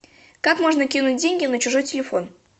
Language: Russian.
как можно кинуть деньги на чужой телефон